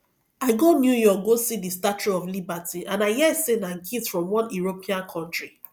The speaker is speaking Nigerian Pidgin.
i go new york go see the statue of liberty and i hear say na gift from one european country